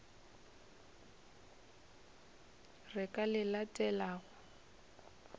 re ka le le latelago